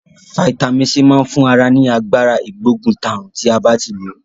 Fítàmì C ma n fun ara ni Agbára ìgbóguntàrùn ti a ba ti lo.